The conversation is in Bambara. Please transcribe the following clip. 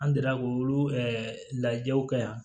An delila k'olu lajɛw kɛ yan